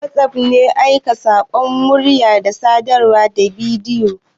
WhatsApp app ne na aika saƙonnin rubutu, murya, da sadarwar bidiyo.